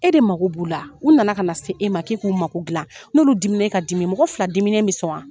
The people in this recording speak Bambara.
E de mako b'u la. U nana ka na se e ma k'e k'u mako dilan. N'olu dimina, e ka dimi. Mɔgɔ fila diminen bɛ sɔn wa?